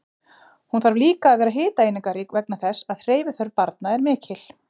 Hún þarf líka að vera hitaeiningarík vegna þess að hreyfiþörf barna er mikil.